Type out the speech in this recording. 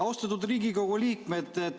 Austatud Riigikogu liikmed!